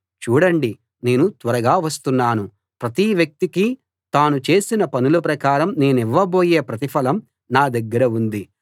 చూడండి నేను త్వరగా వస్తున్నాను ప్రతి వ్యక్తికీ తాను చేసిన పనుల ప్రకారం నేనివ్వబోయే ప్రతిఫలం నా దగ్గర ఉంది